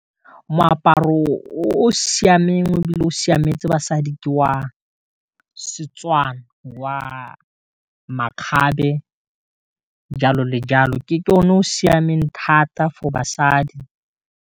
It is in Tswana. Moaparo o siameng e bile o siametse basadi ke wa Setswana wa makgabe jalo le jalo ke o ne o siameng thata for basadi.